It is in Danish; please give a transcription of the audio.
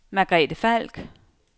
Margrethe Falk